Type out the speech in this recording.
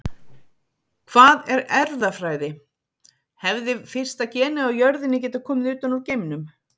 Hvað er erfðafræði Hefði fyrsta genið á jörðinni getað komið utan úr geimnum?